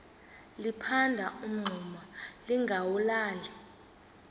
liphanda umngxuma lingawulali